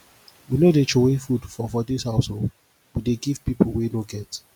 we no dey troway food for for dis house o we dey give pipu wey no get